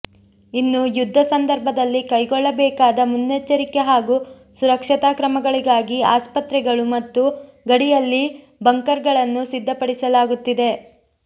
ಇನ್ನು ಯುದ್ಧ ಸಂದರ್ಭದಲ್ಲಿ ಕೈಗೊಳ್ಳಬೇಕಾದ ಮುನ್ನೆಚ್ಚರಿಕೆ ಹಾಗೂ ಸುರಕ್ಷತಾ ಕ್ರಮಗಳಿಗಾಗಿ ಆಸ್ಪತ್ರೆಗಳು ಮತ್ತು ಗಡಿಯಲ್ಲಿ ಬಂಕರ್ಗಳನ್ನು ಸಿದ್ಧಪಡಿಸಲಾಗುತ್ತಿದೆ